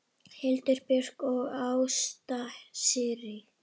Hildur Björg og Ásta Sirrí.